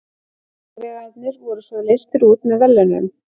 Sigurvegararnir voru svo leystir út með verðlaunum!